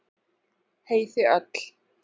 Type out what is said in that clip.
Hey þið öll.